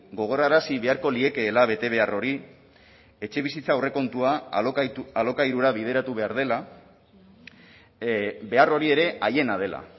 gogorarazi beharko liekeela bete behar hori etxebizitza aurrekontua alokairura bideratu behar dela behar hori ere haiena dela